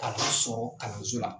Ka n'o sɔrɔ kalanso la.